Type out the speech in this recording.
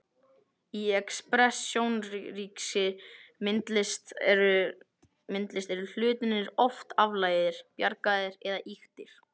Í expressjónískri myndlist eru hlutirnir oft aflagaðir, bjagaðir eða ýktir.